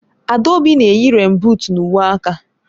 Adaobi na-eyi rèèn buut na uwe aka